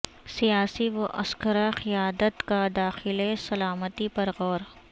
سیاسی و عسکری قیادت کا داخلی سلامتی پر غور